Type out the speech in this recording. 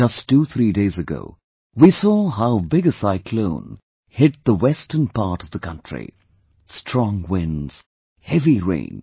Just twothree days ago, we saw how big a cyclone hit the western part of the country... Strong winds, heavy rain